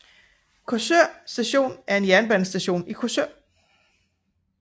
Korsør Station er en dansk jernbanestation i Korsør